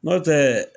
Nɔntɛɛ